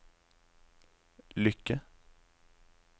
lykke